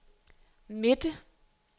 midte